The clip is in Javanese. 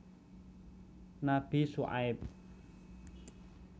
Nabi Syuaib